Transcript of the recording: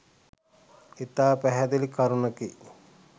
ඉතා පැහැදිලි කරුණකි.